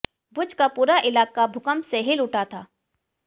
भुज का पूरा इलाका भूकंप से हिल उठा था